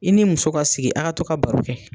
I ni muso ka sigi a ka to ka baro kɛ.